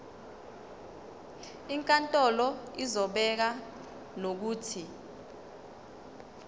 inkantolo izobeka nokuthi